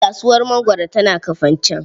Kasuwar mangwaro tana Kafanchan.